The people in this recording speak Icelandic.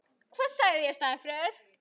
Ský og stormar